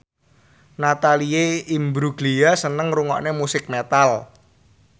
Natalie Imbruglia seneng ngrungokne musik metal